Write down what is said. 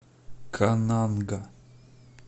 кананга